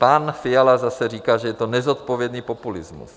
Pan Fiala zase říká, že je to nezodpovědný populismus.